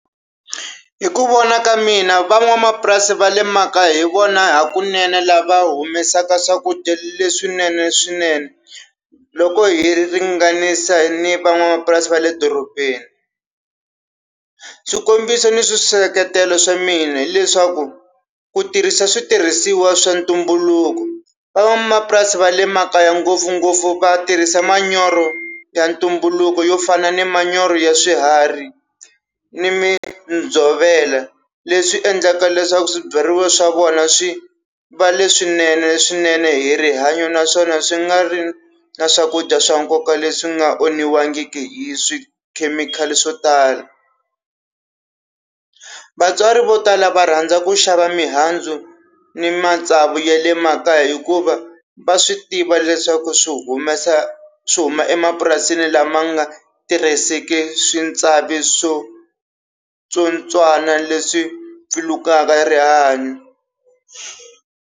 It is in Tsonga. Hi ku vona ka mina van'wamapurasi va le makaya hi vona hakunene lava humesaka swakudya leswinene swinene, loko hi ringanisa ni van'wamapurasi va le dorobeni. Swikombiso ni swiseketelo swa mina hileswaku ku tirhisa switirhisiwa swa ntumbuluko. Van'wamapurasi va le makaya ngopfungopfu va tirhisa manyoro ya ntumbuluko yo fana ni manyoro ya swiharhi ni midzovela leswi endlaka leswaku swibyariwa swa vona swi va leswinene swinene hi rihanyo, naswona swi nga ri na swakudya swa nkoka leswi nga onhiwangiki hi swi khemikhali swo tala. Vatswari vo tala va rhandza ku xava mihandzu ni matsavu ya le makaya, hikuva va swi tiva leswaku swi humesa, swi huma emapurasini lama nga tirhiseki swi tsavi swo tsotswana leswi pfilukaka rihanyo.